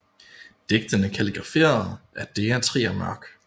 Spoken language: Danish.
Digtene kaligraferet af Dea Trier Mørck